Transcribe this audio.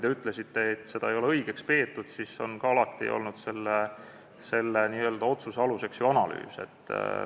Te ütlesite, et seda muudatust ei ole õigeks peetud, aga alati on ka selle otsuse aluseks olnud ju analüüs.